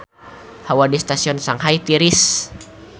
Hawa di Stadion Shanghai tiris